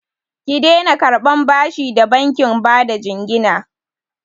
Ki daina karɓan bashi da bankin bada jingina!